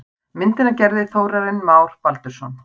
Myndina gerði Þórarinn Már Baldursson.